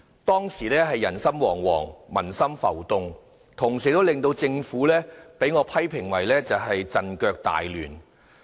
當時人心惶惶、民心浮動，同時，我批評政府是陣腳大亂。